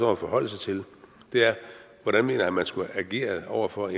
at forholde sig til er hvordan mener han at man skulle have ageret over for